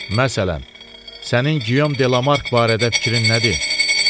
Məsələn, sənin Gyom De La Mark barədə fikrin nədir?